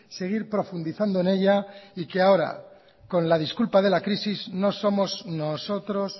seguir profundizando en ella y que ahora con la disculpa de la crisis no somos nosotros